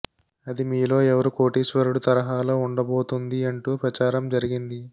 అది మీలో ఎవరు కోటీశ్వరుడు తరహాలో ఉండబోతుంది అంటూ ప్రచారం జరిగింది